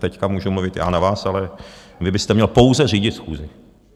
Teď můžu mluvit já na vás, ale vy byste měl pouze řídit schůzi.